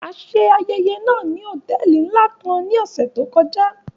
A ṣe ayẹyẹ náa ni hotẹẹli nla kan ni ọsẹ to kọja.